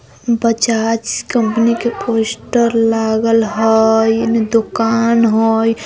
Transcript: Bajaj company के poster लागल हेय एने दुकान हेय।